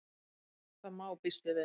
Það má.- býst ég við.